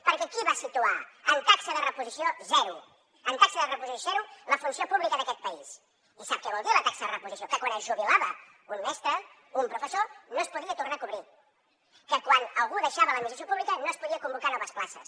perquè qui va situar en taxa de reposició zero en taxa de reposició zero la funció pública d’aquest país i sap què vol dir la taxa de reposició que quan es jubilava un mestre un professor no es podia tornar a cobrir que quan algú deixava l’administració pública no es podien convocar noves places